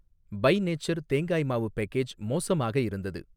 By nature தேங்காய் மாவு package மோசமாக இருந்தது.